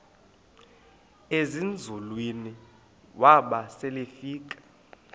ezinzulwini waba selefika